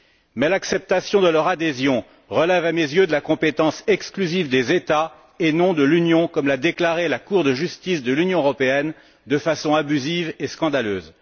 Mais l'acceptation de leur adhésion relève à mes yeux de la compétence exclusive des États, et non de l'Union, comme l'a déclaré la Cour de justice de l'Union européenne, de façon abusive et scandaleuse.